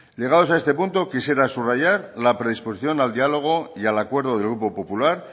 llegados a este punto quisiera subrayar la predisposición al diálogo y al acuerdo del grupo popular